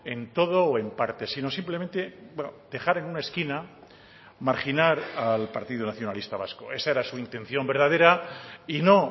en todo o en parte si no simplemente dejar en una esquina marginar al partido nacionalista vasco esa era su intención verdadera y no